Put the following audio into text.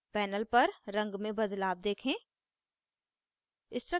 panel पर रंग में बदलाव देखें